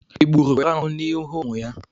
Egburu nwere ahụ n'ihu ụmụ ya?